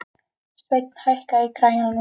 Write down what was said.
Sveinn, hækkaðu í græjunum.